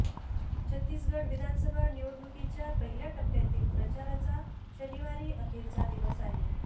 छत्तीसगढ विधानसभा निवडणुकीच्या पहिल्या टप्प्यातील प्रचाराचा शनिवारी अखेरचा दिवस आहे